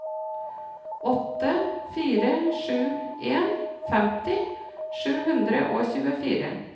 åtte fire sju en femti sju hundre og tjuefire